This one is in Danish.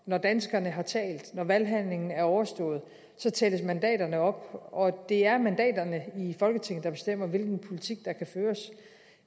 når danskerne har talt når valghandlingen er overstået tælles mandaterne op og det er mandaterne i folketinget der bestemmer hvilken politik der kan føres